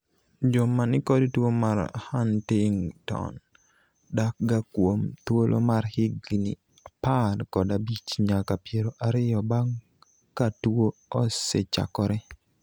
joma nikod tuo mar Huntington dak ga kuom thuolo mar higni apar kod abich nyaka piero ariyo bang' ka tuo osechakore